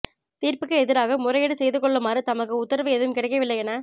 தீர்ப்புக்கு எதிராக முறையீடு செய்து கொள்ளுமாறு தமக்கு உத்தரவு ஏதும் கிடைக்கவில்லை என